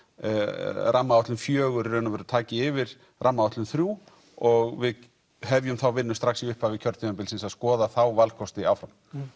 rammaáætlun fjögur í raun og veru taki yfir rammaáætlun þrjú og við hefjum þá vinnu strax í upphafi kjörtímabilsins að skoða þá valkosti áfram